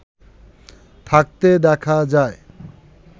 থাকতে দেখা যায়